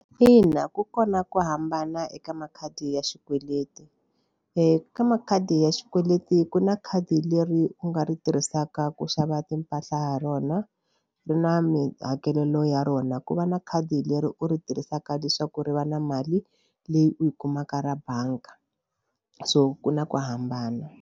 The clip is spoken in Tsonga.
Ina ku kona ku hambana eka makhadi ya xikweleti eka makhadi ya xikweleti ku na khadi leri u nga ri tirhisaka ku xava timpahla ha rona ari na mihakelo ya rona. Ku va na khadi leri u ri tirhisaka leswaku ri va na mali leyi u yi kumaka ra bangi so ku na ku hambana.